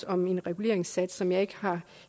om en reguleringssats som jeg ikke har